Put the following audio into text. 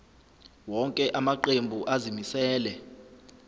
wonke amaqembu azimisela